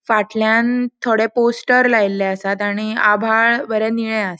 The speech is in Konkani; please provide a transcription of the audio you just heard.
फाटल्यान थोड़े पोस्टर लायल्ले आसात आणि आभाळ बरे निळे आ --